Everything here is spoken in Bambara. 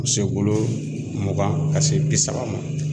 se bolo mugan ka se bi saba ma.